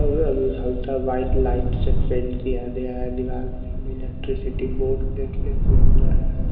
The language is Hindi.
और अल हलता वाइट लाइट से पेंट किया गया है दीवाल में इलेक्ट्रिसिटी बोर्ड देखने को मिल रहा है।